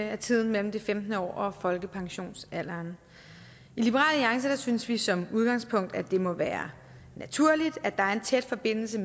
af tiden mellem det femtende år og folkepensionsalderen i liberal alliance synes vi som udgangspunkt at det må være naturligt at der er en tæt forbindelse